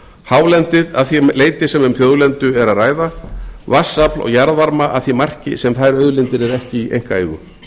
hálendið að því leyti sem um þjóðlendu er að ræða vatnsafl og jarðvarma að því marki sem þær auðlindir eru ekki í einkaeigu